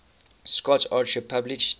scott archer published